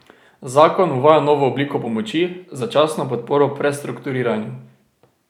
Zakon uvaja novo obliko pomoči, začasno podporo prestrukturiranju.